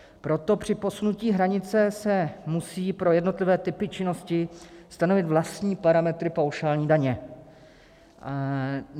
Proto při posunutí hranice se musí pro jednotlivé typy činnosti stanovit vlastní parametry paušální daně.